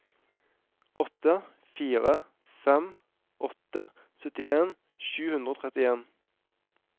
åtte fire fem åtte syttien sju hundre og trettien